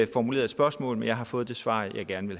formuleret et spørgsmål men jeg har fået det svar jeg gerne